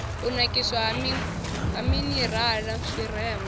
u nakiswa ha minirala zwirengwa